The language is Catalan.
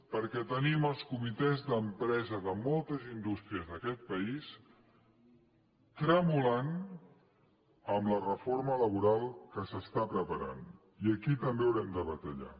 perquè tenim els comitès d’empresa de moltes indús·tries d’aquest país tremolant amb la reforma laboral que s’està preparant i aquí també haurem de batallar